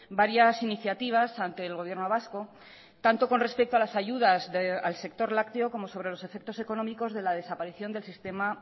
varias iniciativas ante el gobierno vasco tanto con respecto a las ayudas al sector lácteo como sobre los efectos económicos de la desaparición del sistema